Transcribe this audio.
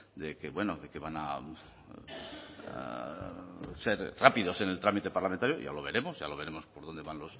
de que bueno de que van a ser rápidos en el trámite parlamentario ya lo veremos ya lo veremos por dónde van